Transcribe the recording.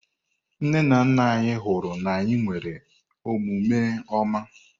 Nne na nna anyị hụrụ na anyị nwere omume ọma.